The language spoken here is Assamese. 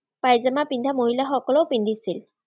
পাইজামা পিন্ধা মহিলাসকলেও পিন্ধিছিল।